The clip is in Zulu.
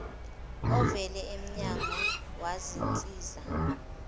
ovela emnyango wezinsiza